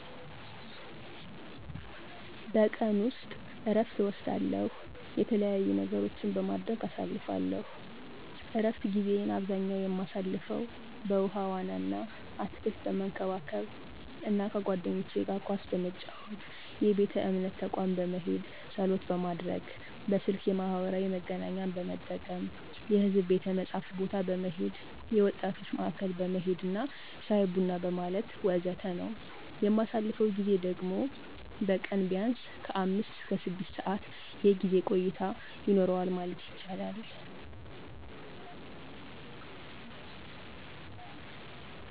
በቀን ውስጥ እረፍት እወስዳለው፥ የተለያዩ ነገሮችን በማድረግ አሳልፍለው። እረፍት ጊዜየን አብዛኛ የማሳልፈው በውሀ ዋና አና አትክልት በመንከባከብ አና ከባልንጄኖቸ ጋር ኳስ በመጫወት፣ የቤተ እምነት ተቋም በመሄድ ፀሎት ማድረግ፣ በስልክ የማህበራዊ መገናኛን በመጠቀም፣ የሕዝብ ቤተ መጽሀፍት ቦታ በመሄድ፣ የወጣቶች ማዕከል በመሄድና ሻይ ቡና በማለት ወዘተ ነው። የማሳልፈው ጊዜ ደግሞ በቀን ቢያንስ ከአምስት እስከ ስድስት ሰዓት የጊዜ ቆይታ ይኖረዋል ማለት ይቻላል።